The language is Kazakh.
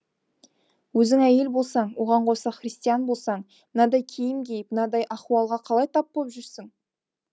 өзің әйел болсаң оған қоса христиан болсаң мынадай киім киіп мынадай ахуалға қалай тап боп жүрсің